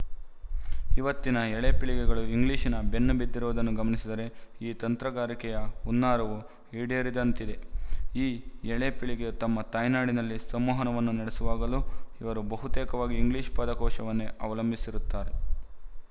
ಇವತ್ತಿನ ಎಳೆಪೀಳಿಗೆಗಳು ಇಂಗ್ಲಿಶಿನ ಬೆನ್ನು ಬಿದ್ದಿರುವುದನ್ನು ಗಮನಿಸಿದರೆ ಈ ತಂತ್ರಗಾರಿಕೆಯ ಹುನ್ನಾರವು ಈಡೇರಿದಂತಿದೆ ಈ ಎಳೆಪೀಳಿಗೆ ತಮ್ಮ ತಾಯ್ನುಡಿಯಲ್ಲಿ ಸಂವಹನವನ್ನು ನಡೆಸುವಾಗಲೂ ಇವರು ಬಹುತೇಕವಾಗಿ ಇಂಗ್ಲಿಶು ಪದಕೋಶವನ್ನೇ ಅವಲಂಬಿಸಿರುತ್ತಾರೆ